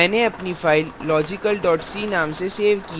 मैंने अपनी file logical c नाम से सेव की है